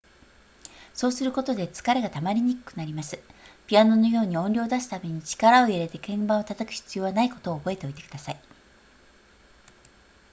そうすることで疲れがたまりにくくなりますピアノのように音量を出すために力を入れて鍵盤を叩く必要はないことを覚えておいてください